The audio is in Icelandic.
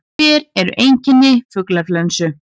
Hver eru einkenni fuglaflensu?